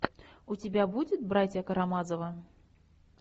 у тебя будет братья карамазовы